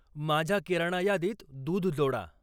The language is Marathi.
माझ्या किराणा यादीत दूध जोडा